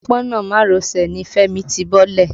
Òpópónà Marosè ni Fẹ́mi ti bọ́lẹ̀.